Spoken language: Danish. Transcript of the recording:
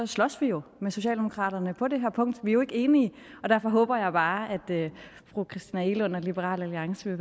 slås vi jo med socialdemokraterne på det her punkt vi er jo ikke enige og derfor håber jeg bare at fru christina egelund og liberal alliance